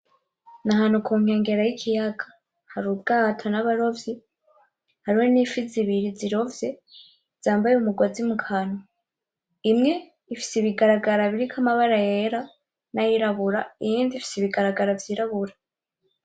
Ni ahantu ku nkengera y'ikiyaga hari ubwato n'abarovyi, hariho n'ifi zibiri zirovye zambaye umugozi mu kanwa, imwe ifise ibigaragara biriko amabara yera nay'irabura iyindi ifise ibigaragara vy'irabura.